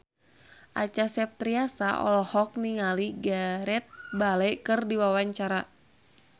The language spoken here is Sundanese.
Acha Septriasa olohok ningali Gareth Bale keur diwawancara